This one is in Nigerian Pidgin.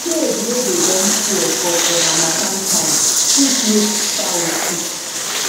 cage wey don tear for for harmattan time fit make fowl sick